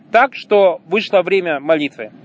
так что вышло время молитвы